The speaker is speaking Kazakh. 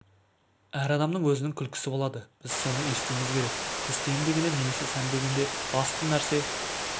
әр адамның өзінің күлкісі болады біз соны естуіміз керек тісті емдегенде немесе сәндегенде басты нәрсе